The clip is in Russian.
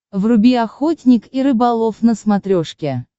вруби охотник и рыболов на смотрешке